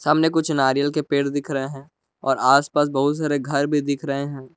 कुछ नारियल के पेड़ दिख रहे हैं और आसपास बहुत सारे घर भी दिख रहे हैं।